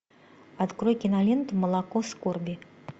открой киноленту молоко скорби